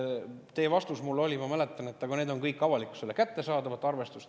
Teie vastus mulle oli, ma mäletan, et nende arvutus on kõik avalikkusele kättesaadav.